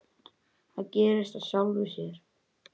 Það gerist af sjálfu sér.